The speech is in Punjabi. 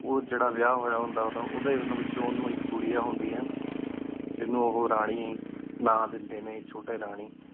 ਉਜਿਰਾ ਵਿਆ ਹੂਯ ਹੂਯ ਹੁੰਦਾ ਉਦਯ ਵੇਚੁ ਉਨੂ ਏਕ ਘੁਯਾ ਹੁੰਦਇ ਆਯ ਟੀ ਉਹੁ ਰਾਨੀ ਟੀ ਉਹ੍ਨੁ ਨਾ ਦੀਦੀ ਨਯਨ ਛੁਟੀ ਰਾਨੀ